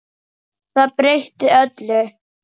Það breytti öllu.